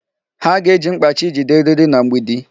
Ha ga-eji mkpachi jide eriri na mgbidi.